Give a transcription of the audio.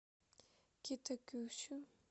китакюсю